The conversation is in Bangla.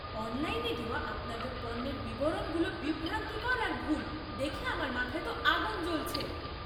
অনলাইনে দেওয়া আপনাদের পণ্যের বিবরণগুলো বিভ্রান্তিকর আর ভুল দেখে আমার মাথায় তো আগুন জ্বলছে।